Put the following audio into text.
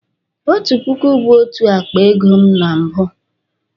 Otu puku bu otu akpa ego na mbụ